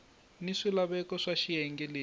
ni swilaveko swa xiyenge lexi